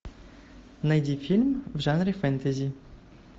найди фильм в жанре фэнтези